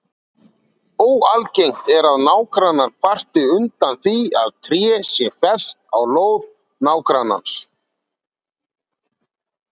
Óalgengt er að nágrannar kvarti undan því að tré sé fellt á lóð nágrannans.